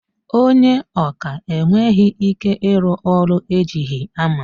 Ònye ọkà enweghị ike ịrụ ọrụ ejighi hama.